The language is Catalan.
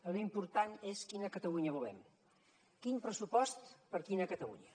l’important és quina catalunya volem quin pressupost per a quina catalunya